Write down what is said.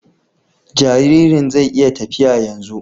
Jaririn zai iya tafiya yanzu